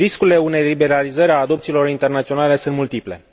Riscurile unei liberalizări a adopțiilor internaționale sunt multiple.